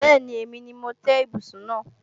Bẹ́ẹ̀ni, èmi ni mo tẹ́ ibùsùn náà